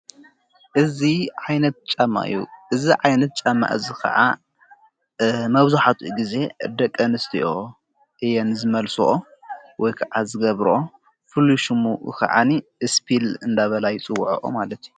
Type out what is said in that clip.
ዓይነት ማዩእዝ ዓይነት ጫማእዝ ኸዓ መብዙሕቱኡ ጊዜ ደቂ ኣነስቲኦ እየን ዝመልስኦ ወይከዓ ዝገብሮ ፍሉይ ሹሙ ኸዓኒ እስፒል እንዳበላይ ጽውዐኦ ማለት እዩ።